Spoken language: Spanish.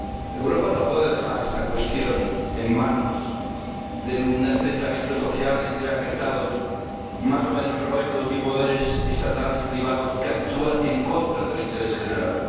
Europa no puede dejar esta cuestión en manos de un enfrentamiento social entre afectados más o menos heroicos y poderes estatales y privados que actúan en contra del interés general.